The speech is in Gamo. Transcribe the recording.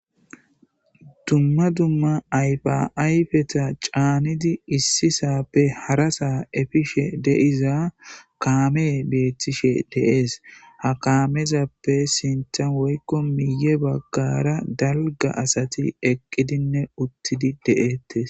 dumma dumma ayfa ayfeta caanidi issisappe harasa efishe de'iza kaame beettishe de'ees ha kaamezappe sintan woykko miiye baggara dalga asati eqqidinne uttidi de'ettes